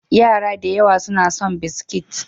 Yara da yawa suna son biskit.